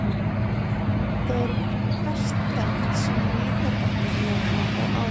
Þau eru best þekkt sem litarefni blóma og ávaxta.